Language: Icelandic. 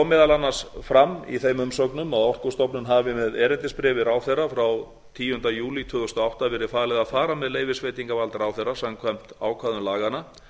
meðal annars fram í þeim umsögnum að orkustofnun hafi með erindisbréfi ráðherra frá tíunda júlí tvö þúsund og átta verið falið að fara með leyfisveitingarvald ráðherra samkvæmt ákvæðum laganna